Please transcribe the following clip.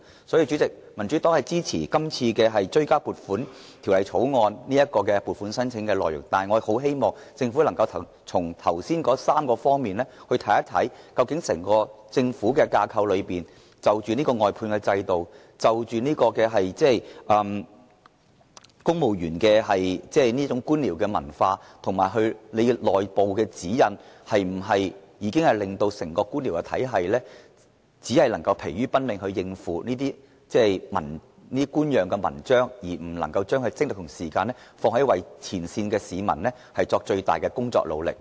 主席，民主黨支持這項《追加撥款條例草案》的撥款申請內容，但我很希望政府從上述3方面看整個政府架構，檢討外判制度、公務員的官僚文化和內部指引是否令整個官僚體系疲於奔命應付這些官樣文章，而不能把精力和時間放在前線市民身上，作出最大努力。